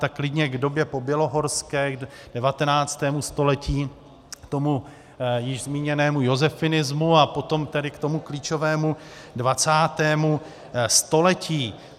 Tak klidně k době pobělohorské, k 19. století, k tomu již zmíněnému josefinismu a potom tedy k tomu klíčovému 20. století.